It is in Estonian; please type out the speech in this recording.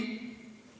''.